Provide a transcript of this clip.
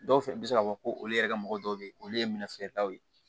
Dɔw fɛnɛ bɛ se k'a fɔ ko olu yɛrɛ ka mɔgɔ dɔw bɛ yen olu ye minɛn feeretaw ye